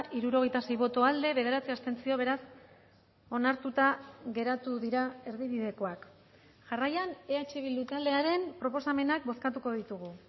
hirurogeita sei boto aldekoa bederatzi abstentzio beraz onartuta geratu dira erdibidekoak jarraian eh bildu taldearen proposamenak bozkatuko ditugu